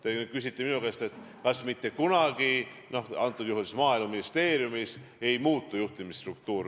Te küsite minu käest, kas maaeluministeeriumis mitte kunagi ei muutu juhtimisstruktuur.